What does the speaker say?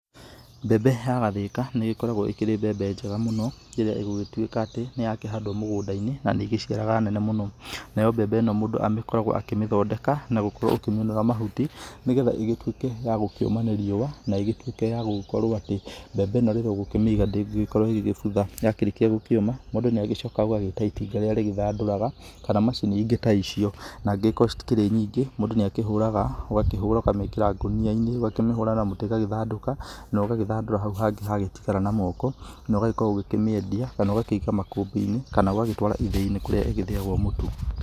Mbembe ya gathĩka nĩ ĩgĩkoragwo ĩkĩrĩ mbembe njega mũno ĩrĩa ĩgũgĩtuĩka atĩ nĩ ya kĩhandwo mũgũnda-inĩ na nĩ ĩgĩciaranga nene mũno, nayo mbembe ĩno mũndũ agĩkoragwo akĩmĩthondeka nagũkorwo ũkĩmĩũnũra mahuti, nĩgetha ĩgĩtuĩke ya gũkĩũma nĩ riũa na igĩgĩtuĩke ya gũgĩkorwo atĩ mbembe ĩno rĩrĩa ũgũkĩmĩiga ndĩgĩgĩkorwo ĩgĩgĩbutha ya gĩkĩrĩkia gũkĩũma mũndũ nĩ agĩcokaga ũgagĩta itinga rĩrĩa rĩthandũraga, kana macini ingĩ ta icio na angĩkorwo citi kĩrĩ nyingĩ mũndũ nĩ akĩhũraga ũgakĩmĩkĩra ngũnia-inĩ ũgakĩmĩhũra na mũtĩ ĩgagĩthandũka, na ũgagĩthandũra hau hangĩ hangĩtigara na moko na ũgakorwo ũkĩmĩendia kana ũgakĩiga makũmbĩ-inĩ kana ũgatwara ithĩi-nĩ kũrĩa ĩgĩthiagwo mũtu.